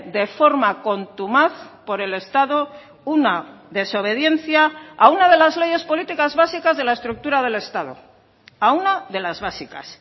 de forma contumaz por el estado una desobediencia a una de las leyes políticas básicas de la estructura del estado a una de las básicas